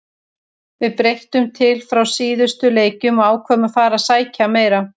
Við breyttum til frá síðustu leikjum og ákváðum að fara að sækja meira.